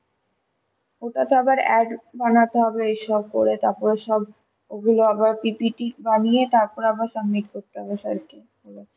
ওটা তো আবার ad বানাতে হবে এইসব করে তারপর সব ওগুলো আবার PPT বানিয়ে তারপর আবার submit করতে হবে sir কে